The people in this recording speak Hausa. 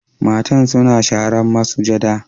Mata suna sharan masujada.